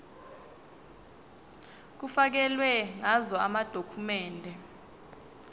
kufakelwe ngazo amadokhumende